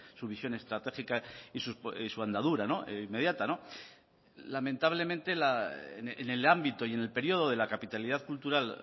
su visión estratégica y su andadura inmediata lamentablemente en el ámbito y en el periodo de la capitalidad cultural